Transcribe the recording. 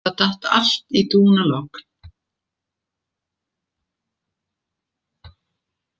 Það datt allt í dúnalogn.